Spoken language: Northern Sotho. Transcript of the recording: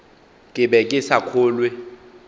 ke be ke sa kgolwe